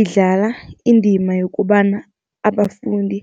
Idlala indima yokobana abafundi